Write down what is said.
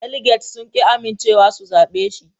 Daliget sun ƙi amincewa si zabe shi